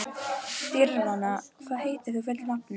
Dýrfinna, hvað heitir þú fullu nafni?